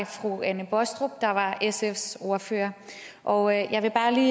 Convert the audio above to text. fru anne baastrup der var sfs ordfører og jeg vil bare lige